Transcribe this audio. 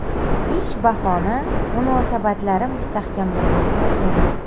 Ish bahona munosabatlari mustahkamlanib borgan.